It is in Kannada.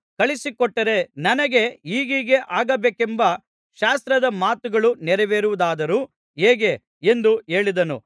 ಕಳುಹಿಸಿಕೊಟ್ಟರೆ ನನಗೆ ಹೀಗೀಗೆ ಆಗಬೇಕೆಂಬ ಶಾಸ್ತ್ರದ ಮಾತುಗಳು ನೆರವೇರುವುದಾದರೂ ಹೇಗೆ ಎಂದು ಹೇಳಿದನು